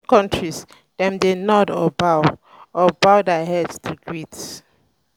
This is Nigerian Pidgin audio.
for asian countries dem dey nod or bow or bow their head to greet